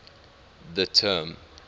the term